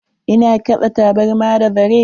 Ina kitsa tabarma da zare.